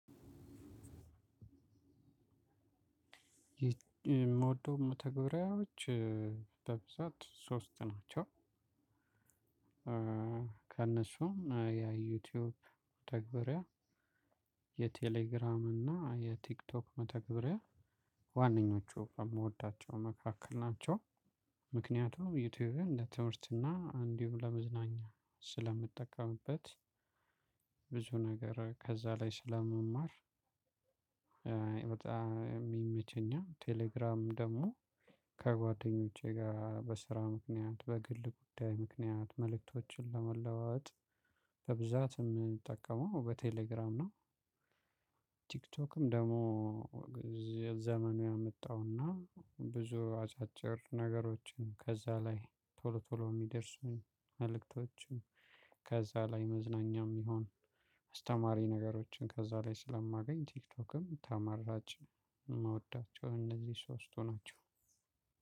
የምወደው መተግብሪያዎች በብዛት ሶስት ናቸው። ከእነሱም የዩቲዩብ መተግበሪያ የቴሌግራም እና የቲክቶክ መተግበሪያ ዋናኞቹ የምወዳቸው መካከል ናቸው። ምክንያቱም ዩቲዩብን ለትምህርትና እንዲሁም ለመዝናኛ ስለምጠቀምበት ብዙ ነገር ከዛ ላይ ስለምማር። በጣም የሚመቸኛው ቴሌግራም ደግሞ ከጓደኞቼ ጋራ በስራ ምክንያት በግል ጉዳይ ምክንያት መልእክቶችን ለመለዋወጥ በብዛት የምንጠቀመው በቴሌግራም ነው። ቲክቶክም ደግሞ ዘመኑ ያመጣውና ብዙ አጫጭር ነገሮችን ከዛ ላይ ቶሎ ቶሎ የሚደርሱኝ ከዛ ላይ መዝናኛም ይሁን አስተማሪ ነገሮችን ከዛ ላይ ስለማገኝ ቲክቶክም ተመራጭ። የምወዳቸው እነዚህ ሶስቱ ናቸው።